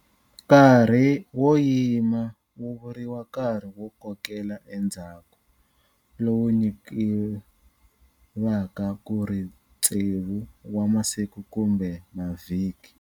Nkarhi wo yima wu vuriwa nkarhi wo kokela endzhaku, lowu nyikivaka ku ri tsevu wa masiku kumbe mavhiki.